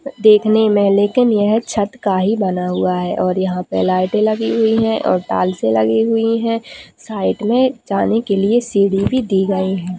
देखने में लेकिन यह छत का ही बना हुआ है और यहाँ पे लाईटे लगी हुई है और टाइलसे लगी हुई है साइड में जाने के लिए सीढ़ी भी दी गई है।